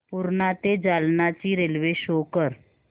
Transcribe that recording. पूर्णा ते जालना ची railway show कर